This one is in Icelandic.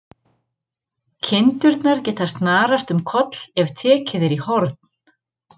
Kindurnar geta snarast um koll ef tekið er í horn.